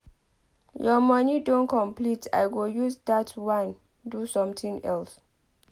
Your money don complete I go use dat wan do something else.